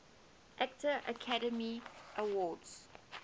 actor academy award